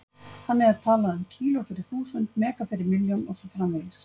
Þannig er talað um kíló- fyrir þúsund, mega- fyrir milljón og svo framvegis.